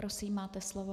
Prosím, máte slovo.